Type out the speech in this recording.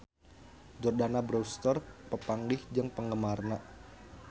Jordana Brewster papanggih jeung penggemarna